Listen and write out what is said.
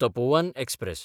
Tapovan express